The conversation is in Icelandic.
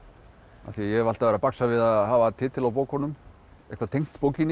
af því ég hef alltaf verið að baksa við að hafa titil á bókunum eitthvað tengt bókinni